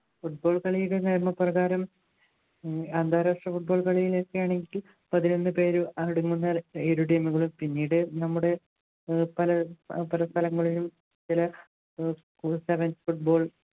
football കളിയുടെ നിയമപ്രകാരം അന്താരാഷ്ട്ര football കളിയിൽ ഒക്കെ ആണെങ്കിൽ പതിനൊന്നു പേരും അടങ്ങുന്ന team കളും പിന്നീട് നമ്മുടെ പല സ്ഥലങ്ങളിലും ചില sevens football